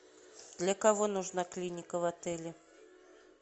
для кого нужна клиника в отеле